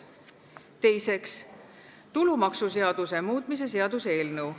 Teiseks, tulumaksuseaduse muutmise seaduse eelnõu.